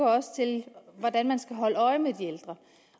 også til hvordan man skal holde øje med de ældre